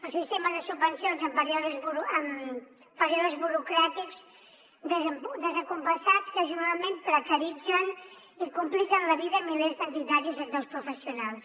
els sistemes de subvencions amb períodes burocràtics descompassats que generalment precaritzen i compliquen la vida a milers d’entitats i sectors professionals